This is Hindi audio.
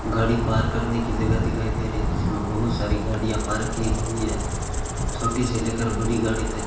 गाड़ी करने की जगह दिखाई दे रही जिसमें बहुत सारी गाड़ियां पार की गई है छोटी से लेकर बड़ी गाड़ी तक--